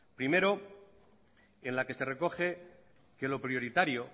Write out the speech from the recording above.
primero en la que se recoge que lo prioritario